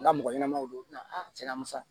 N ka mɔgɔ ɲɛnamaw don a tiɲɛ na musa